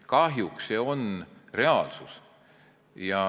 Kahjuks on see reaalsus.